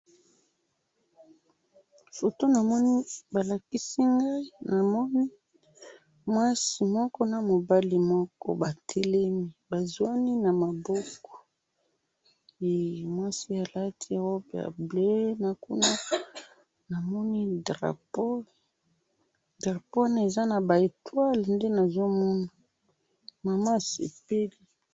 foto namoni balakisi ngayi namoni mwasi moko namobali moko batelemi bazwani na mabokohee mwasi alati robe ya bleu nakuma namoni drapeau wana eza naba etoile hee mama asepeli